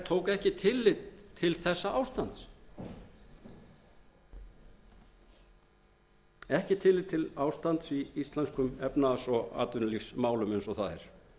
tók ekki tillit til þessa ástands ekki tillit til ástand í íslenskum efnahags og atvinnulífsmálum eins og það er